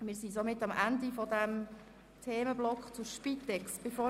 Wir sind somit am Ende des Themenblocks 6.e Spitex angelangt.